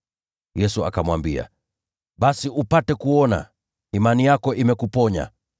Yesu akamwambia, “Basi upate kuona. Imani yako imekuponya.”